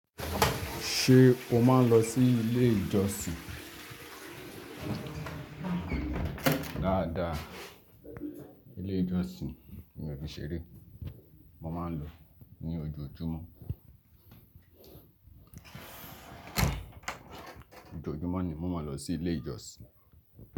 Ṣé o máa ń lọ sí ilé ìjọsìn? Dáadáa, ilé ìjọsìn mi ò fi ṣeré. Mo máa ń lọ ní ojoojúmọ́. Ojoojúmọ́ ni mo máa ń lọ sí ilé ìjọsìn.